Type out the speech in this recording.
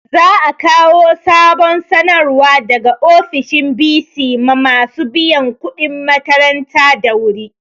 Za a kawo sabon sanarwa daga ofishin bc ma masu biyan kuɗin makaranta da wu ri